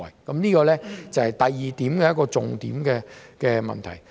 這是第二點的一個重點問題。